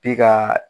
Bi ka